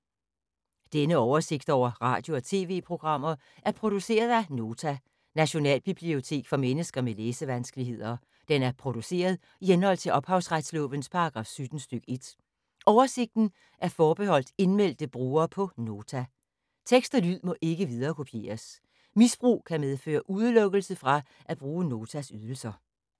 Denne oversigt over radio og TV-programmer er produceret af Nota, Nationalbibliotek for mennesker med læsevanskeligheder. Den er produceret i henhold til ophavsretslovens paragraf 17 stk. 1. Oversigten er forbeholdt indmeldte brugere på Nota. Tekst og lyd må ikke viderekopieres. Misbrug kan medføre udelukkelse fra at bruge Notas ydelser.